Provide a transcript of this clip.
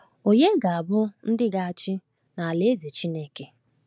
Ònye ga-abụ ndị ga-achị n’Alaeze Chineke?